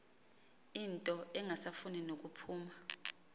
into engasafuni nokuphuma